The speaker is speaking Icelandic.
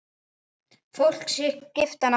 Fólk skipti hana máli.